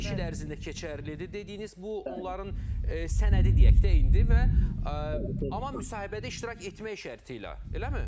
Beş il ərzində keçərlidir dediyiniz, bu onların sənədi deyək də indi və amma müsahibədə iştirak etmək şərti ilə, eləmi?